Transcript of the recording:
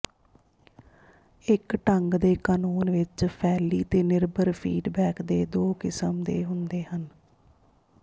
ਇੱਕ ਢੰਗ ਦੇ ਕਾਨੂੰਨ ਵਿਚ ਫੈਲੀ ਤੇ ਨਿਰਭਰ ਫੀਡਬੈਕ ਦੇ ਦੋ ਕਿਸਮ ਦੇ ਹੁੰਦੇ ਹਨ